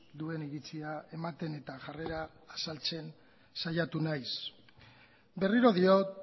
duen iritzia ematen eta jarrera azaltzen saiatu naiz berriro diot